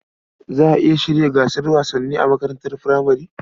Za a iya shirya gasar wasanni a makarantar furamare.